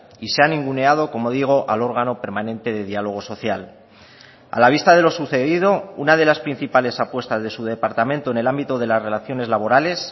y se ha ninguneado como digo al órgano permanente de diálogo social a la vista de lo sucedido una de las principales apuestas de su departamento en el ámbito de las relaciones laborales